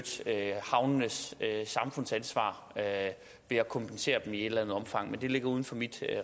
havnenes samfundsansvar ved at kompensere dem i et eller andet omfang men det ligger uden for mit